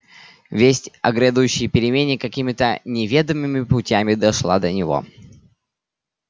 весть о грядущей перемене какими то неведомыми путями дошла до него